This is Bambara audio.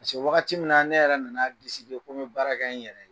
wagati min na ne yɛrɛ nan'a ko n be baara kɛ n yɛrɛ ye